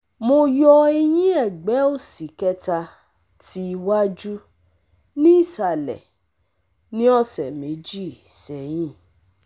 Mo yo eyin egbe osi keta ti iwaju ni isale ni ose meji seyin